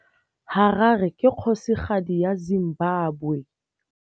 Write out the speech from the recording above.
Harare ke kgosigadi ya Zimbabwe.